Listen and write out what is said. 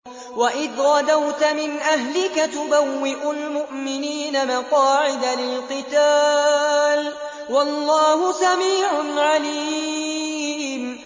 وَإِذْ غَدَوْتَ مِنْ أَهْلِكَ تُبَوِّئُ الْمُؤْمِنِينَ مَقَاعِدَ لِلْقِتَالِ ۗ وَاللَّهُ سَمِيعٌ عَلِيمٌ